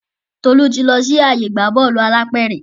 Tolu tí lọ sì ààyè ìgbà Bọ́ọ̀lù alápẹ̀rẹ̀.